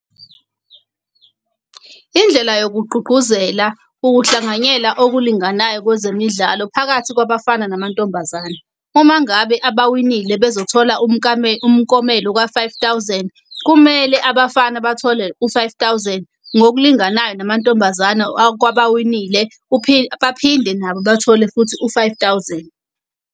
Indlela yokugqugquzela ukuhlanganyela okulinganayo kwezemidlalo phakathi kwabafana namantombazane. Uma ngabe abawinile bezothola umkomelo ka-five thousand, kumele abafana bathole u-five thousand ngokulinganayo namantombazane. Kwabawinile uphinde baphinde nabo bathole futhi u-five thousand.